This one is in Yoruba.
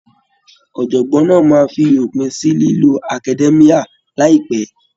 Ọ̀jọ̀gbọ́n náà máa fi òpin sí lílo academia láìpẹ́.